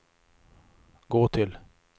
gå till